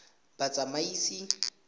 batsamaisi